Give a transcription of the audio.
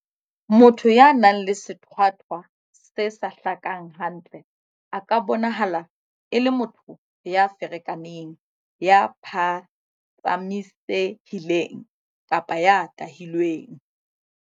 Motho ya nang le sethwathwa se sa hlakang hantle a ka bonahala e le motho ya ferekaneng, ya phatsamise-hileng kapa ya tahilweng.